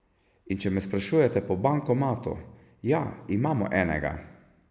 In če me sprašujete po bankomatu, ja, imamo enega.